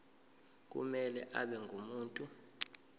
kumele abe ngumuntu